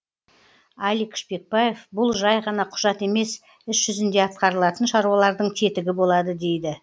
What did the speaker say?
алик шпекбаев бұл жай ғана құжат емес іс жүзінде атқарылатын шаруалардың тетігі болады дейді